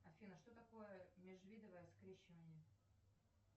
афина что такое межвидовое скрещивание